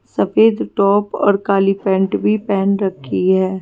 सफेद टॉप और काली पेंट भी पहन रखी है।